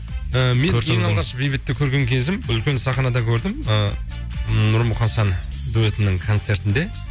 і мен ең алғаш бейбітті көрген кезім үлкен сахнада көрдім ы нұрмұқасан дуэтінің концертінде